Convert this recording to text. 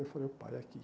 Eu falei, opa, é aqui.